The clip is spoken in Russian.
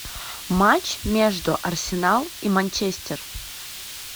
матч между арсенал и манчестер